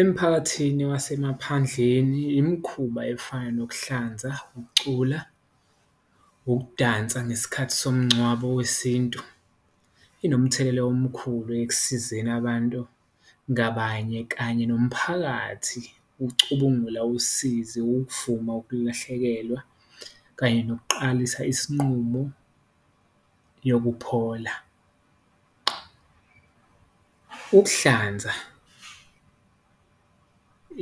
Emphakathini wasemaphandleni imikhuba efana nokuhlanza, ukucula, ukudansa ngesikhathi somngcwabo wesintu, inomthelela omkhulu ekusizeni abantu ngabanye kanye nomphakathi, ukucubungula usizi, ukuvuma ukulahlekelwa kanye nokuqalisa isinqumo yokuphola. Ukuhlanza